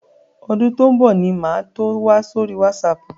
Ọdún tó ń bọ̀ ni màá tó wà sórí wásaàpù.